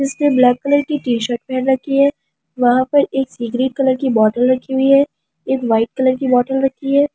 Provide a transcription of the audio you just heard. इसने black colour की t shirt पहन रखी है वहां पर एक सी ग्रेट कलर की एक बॉटल रखी हुई हे एक ब्‍हाईट कलर की बॉटल रखी हुई है।